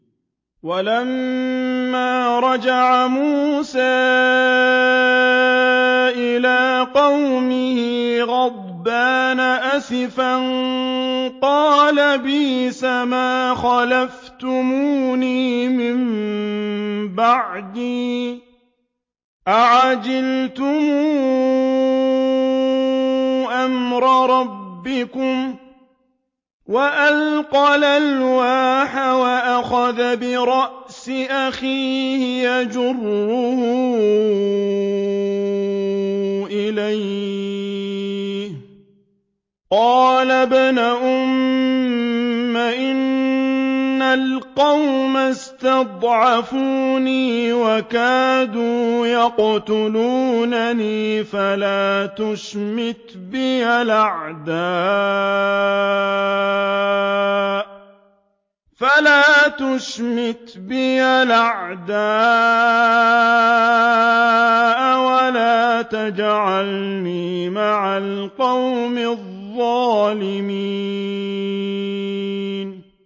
وَلَمَّا رَجَعَ مُوسَىٰ إِلَىٰ قَوْمِهِ غَضْبَانَ أَسِفًا قَالَ بِئْسَمَا خَلَفْتُمُونِي مِن بَعْدِي ۖ أَعَجِلْتُمْ أَمْرَ رَبِّكُمْ ۖ وَأَلْقَى الْأَلْوَاحَ وَأَخَذَ بِرَأْسِ أَخِيهِ يَجُرُّهُ إِلَيْهِ ۚ قَالَ ابْنَ أُمَّ إِنَّ الْقَوْمَ اسْتَضْعَفُونِي وَكَادُوا يَقْتُلُونَنِي فَلَا تُشْمِتْ بِيَ الْأَعْدَاءَ وَلَا تَجْعَلْنِي مَعَ الْقَوْمِ الظَّالِمِينَ